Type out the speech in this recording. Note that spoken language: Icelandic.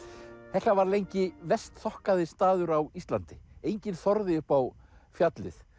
hekla var lengi verst þokkaði staður á Íslandi enginn þorði upp á fjallið